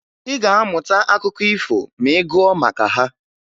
Ị ga-amụta akụkọ ifo ma ị gụọ maka ha